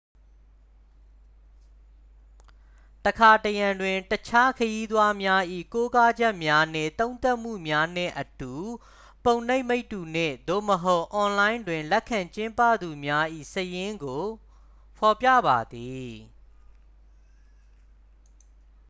တစ်ခါတစ်ရံတွင် တခြား ခရီးသွားများ၏ ကိုးကားချက်များနှင့် သုံးသပ်မှုများနှင့်အတူ ပုံနှိပ်မိတ္တူ နှင့်/သို့မဟုတ် အွန်လိုင်းတွင် လက်ခံကျင်းပသူများ၏ စာရင်းကို ဖော်ပြပါသည်။